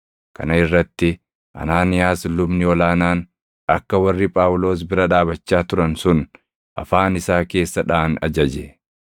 Kana irratti Anaaniyaas lubni ol aanaan akka warri Phaawulos bira dhaabachaa turan sun afaan isaa keessa dhaʼan ajaje.